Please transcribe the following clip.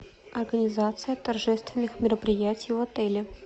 организация торжественных мероприятий в отеле